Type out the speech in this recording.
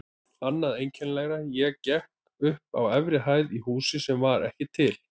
Annað einkennilegra: ég gekk upp á efri hæð í húsi sem var ekki til.